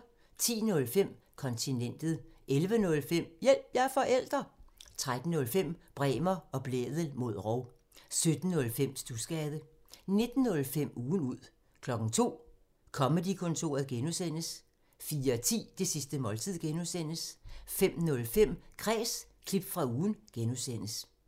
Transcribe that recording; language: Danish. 10:05: Kontinentet 11:05: Hjælp – jeg er forælder! 13:05: Bremer og Blædel mod rov 17:05: Studsgade 19:05: Ugen ud 02:00: Comedy-kontoret (G) 04:10: Det sidste måltid (G) 05:05: Kræs – klip fra ugen (G)